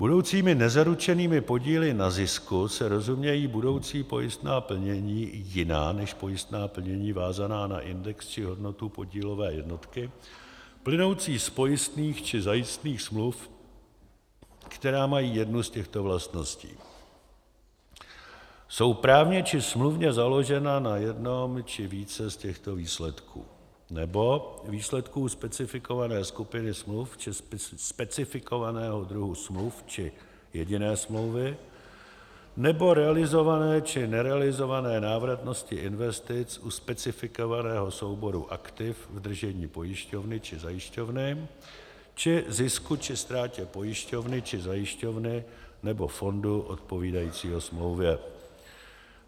Budoucími nezaručenými podíly na zisku se rozumějí budoucí pojistná plnění, jiná než pojistná plnění vázaná na index či hodnotu podílové jednotky plynoucí z pojistných či zajistných smluv, která mají jednu z těchto vlastností: jsou právně či smluvně založena na jednom či více z těchto výsledků nebo výsledků specifikované skupiny smluv či specifikovaného druhu smluv či jediné smlouvy nebo realizované či nerealizované návratnosti investic u specifikovaného souboru aktiv v držení pojišťovny či zajišťovny či zisku či ztrátě pojišťovny či zajišťovny nebo fondu odpovídajícího smlouvě.